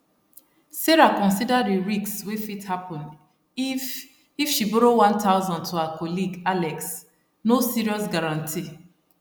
sarah consider di risk wey fit happen if if she borrow 1000 to her colleague alex no serious guarantee